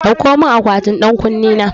Dauko mun akwatin ɗan ƙunne na